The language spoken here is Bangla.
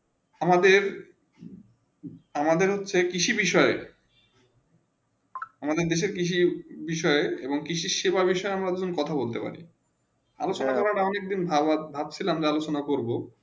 আমাদের আমাদের হচ্ছে কৃষি বিষয়ে আমাদের দেশে কৃষি বিষয় এবং কৃষি সেবা বিষয়ে আমরা দুজন কথা বলতে পারি আমি সেটা এক দিন ভালো ভাব ছিলাম দেখা সুনাম করবো